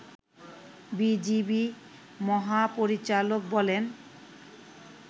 BGB মহাপরিচালক বলেন